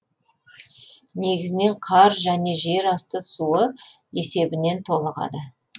негізінен қар және жер асты суы есебінен толығады